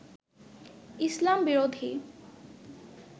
ইসলাম-বিরোধী